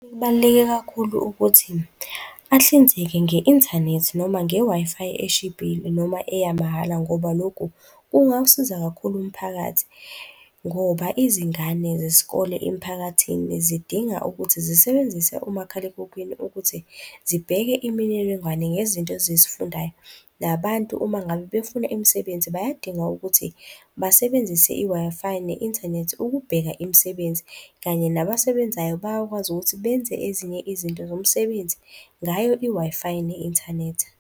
Kubaluleke kakhulu ukuthi ahlinzeke nge-inthanethi noma nge-Wi-Fi eshibhile noma eyamahala ngoba lokhu kungawusiza kakhulu umphakathi ngoba izingane zesikole emiphakathini zidinga ukuthi zisebenzise umakhalekhukhwini ukuthi zibheke imininingwane ngezinto ezizifundayo, nabantu uma ngabe befuna imisebenzi, bayadinga ukuthi basebenzise i-Wi-Fi ne-inthanethi ukubheka imisebenzi kanye nabasebenzayo, bayakwazi ukuthi benze ezinye izinto zomsebenzi ngayo i-Wi-Fi ne-inthanethi.